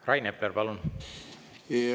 Rain Epler, palun!